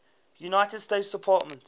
united states department